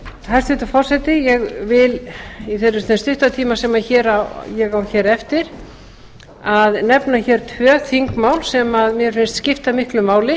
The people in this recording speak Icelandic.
hæstvirtur forseti ég vil í þessum stutta tíma sem ég á hér eftir að nefna hér tvö þingmál sem mér finnst skipta miklu máli